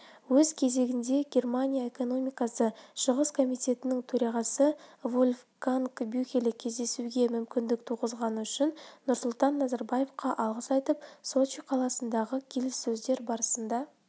өз кезегінде германия экономикасы шығыс комитетінің төрағасы вольфганг бюхеле кездесуге мүмкіндік туғызғаны үшін нұрсұлтан назарбаевқа алғыс айтып сочи қаласындағы келіссөздер барысында